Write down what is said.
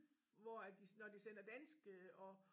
Hvor at de når de sender danske og